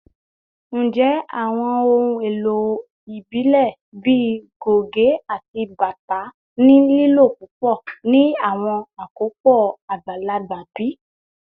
Njẹ awọn ohun elo ibile bii goge ati bata ni lilo pupọ ni awọn akopọ agbalagba bi?